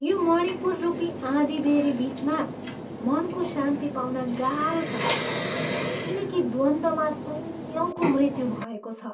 यो मणिपुररूपीआँधीबेहरी बिचमा मनको शान्ति पाउन गाह्रो छ, किनकि द्वन्द्वमा सयौँको मृत्यु हुभएको छ।